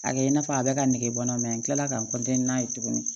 A kɛ i n'a fɔ a bɛɛ ka negebɔ n'a ka n n'a ye tuguni